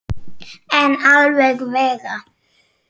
En alla vega.